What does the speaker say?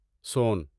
سون